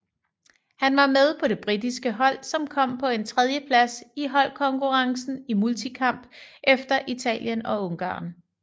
Han var med på det britiske hold som kom på en tredjeplads i holdkonkurrencen i multikamp efter Italien og Ungarn